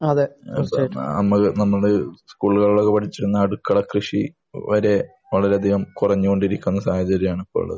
നമ്മൾ സ്കൂളുകളിൽ ഒക്കെ പഠിച്ചുകൊണ്ടിരിക്കുന്ന അടുക്കള കൃഷി വരെ കുറഞ്ഞു കൊണ്ടിരിക്കുകയാണ്